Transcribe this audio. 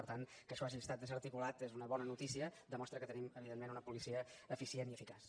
per tant que això hagi estat desarticulat és una bona notícia demostra que tenim evidentment una policia eficient i eficaç